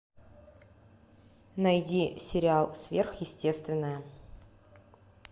найди сериал сверхъестественное